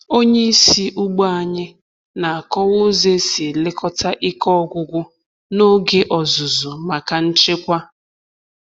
Onye isi ugbo anyị na-akọwa ụzọ esi elekọta ike ọgwụgwụ n’oge ọzụzụ maka nchekwa.